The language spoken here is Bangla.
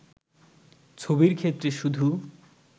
ছবির ক্ষেত্রে শুধু